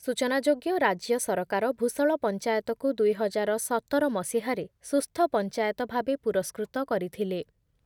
ସୂଚନାଯୋଗ୍ୟ, ରାଜ୍ୟ ସରକାର ଭୂଷଳ ପଞ୍ଚାୟତକୁ ଦୁଇ ହଜାର ସତର ମସିହାରେ ସୁସ୍ଥ ପଞ୍ଚାୟତ ଭାବେ ପୁରସ୍କୃତ କରିଥିଲେ I